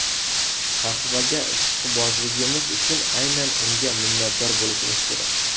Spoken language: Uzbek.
Qahvaga ishqibozligimiz uchun aynan unga minnatdor bo‘lishimiz kerak.